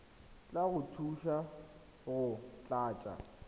tla go thusa go tlatsa